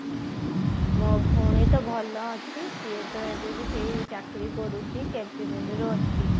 ମୋ ଭଉଣୀ ତ ଭଲ ଅଛି ସିଏତ ଏବେବି ସେଇ ଚାକିରି କରୁଛି ଅଛି